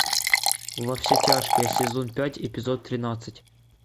во все тяжкие сезон пять эпизод тринадцать